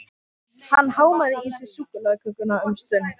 Hann hámaði í sig súkkulaðikökuna um stund.